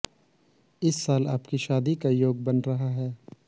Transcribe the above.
इस साल आपकी शादी का योग बन रहा है